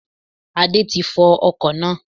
Adé ti fọ ọkò náá